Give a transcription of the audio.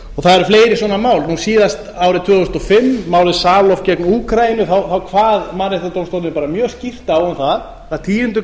það eru fleiri svona mál það var síðast árið tvö þúsund og fimm málið salov gegn úkraínu þá kvað mannréttindadómstóllinn bara mjög skýrt á um það að tíunda